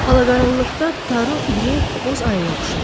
Ala qaranlıqda Taru iri, boz aya oxşayırdı.